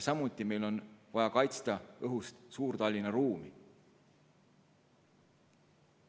Samuti on meil vaja kaitsta õhust Suur-Tallinna ruumi.